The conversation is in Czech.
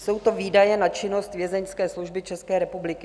Jsou to výdaje na činnost Vězeňské služby České republiky.